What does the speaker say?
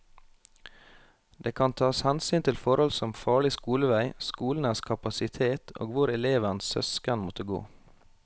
Det kan tas hensyn til forhold som farlig skolevei, skolenes kapasitet og hvor elevens søsken måtte gå.